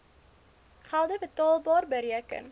gelde betaalbar bereken